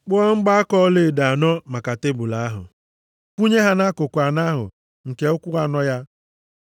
Kpụọ mgbaaka ọlaedo anọ maka tebul ahụ, kwụnye ha nʼakụkụ anọ ahụ nke ụkwụ anọ ya.